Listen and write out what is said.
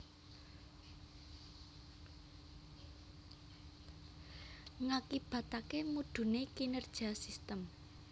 Ngakibataké mudhuné kinerja sistem